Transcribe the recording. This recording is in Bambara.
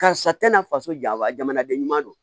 Karisa tɛna faso ja wa jamanaden ɲuman don